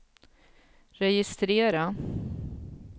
registrera